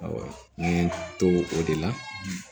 n ye to o de la